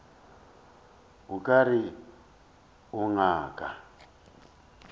o ka re o ngaka